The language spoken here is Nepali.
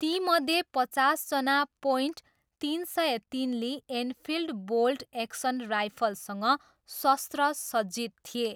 तीमध्ये पचासजना पोइन्ट तिन सय तिन ली एनफिल्ड बोल्ट एक्सन राइफलसँग शस्त्र सज्जित थिए।